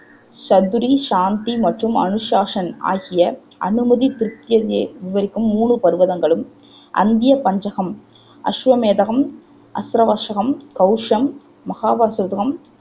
சதுரீ, சாந்தி மற்றும் அனுசாசன் ஆகிய அனுமைதி திருப்தியதை விவரிக்கும் மூணூ பர்வகங்களும் அந்த்ய பஞ்சகம் அசுவமேதகம், ஆச்ரவர்ஷகம், கௌஷம், மகாபசூதகம்